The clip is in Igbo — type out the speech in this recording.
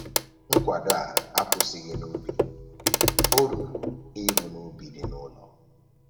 Nkwado a akwụsịghị n'ubi, o ruru ịrụ n'ubi dị n'ụlọ